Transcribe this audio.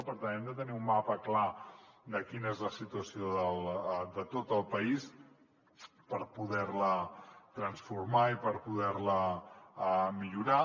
per tant hem de tenir un mapa clar de quina és la situació de tot el país per poder la transformar i per poder la millorar